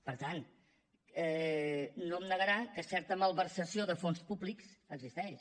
per tant no em negarà que certa malversació de fons públics existeix